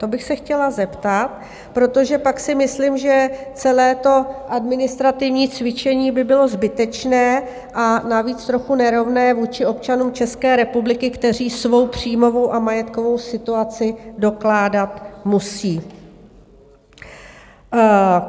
To bych se chtěla zeptat, protože pak si myslím, že celé to administrativní cvičení by bylo zbytečné, a navíc trochu nerovné vůči občanům České republiky, kteří svou příjmovou a majetkovou situaci dokládat musí.